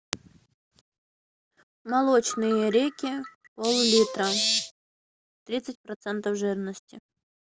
молочные реки поллитра тридцать процентов жирности